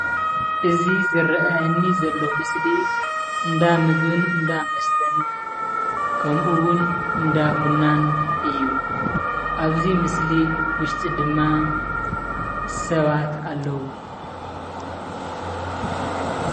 እዚ ዝረኣየኒ ዘሎ ምስሊ እንዳ ምግቢን እንዳመስተን ከምኡ ውን እንዳቡናን እዩ። ኣብዚ ምስሊ ውሽጢ ድማ ሰባት ኣለው።